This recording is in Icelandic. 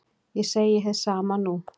Ég segi hið sama nú.